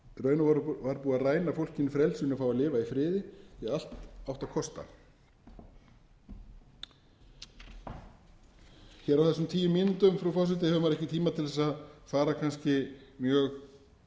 raun og veru var búið að ræna fólkið frelsinu að fá að lifa í friði því að allt átti að kosta hér á þessum sínu mínútum frú forseti hefur maður ekki tíma til þess að fara kannski mjög